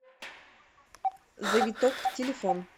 завиток телефон